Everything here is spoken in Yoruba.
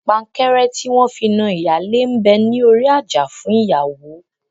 Pankẹ́rẹ́ tí wọn fi na ìyálé ń bẹ ní orí àjà fún ìyàwó